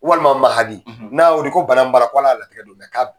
Walima maha n'a bƐ wele ko ala ya hakƐ to